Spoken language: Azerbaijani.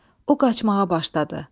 O qaçmağa başladı.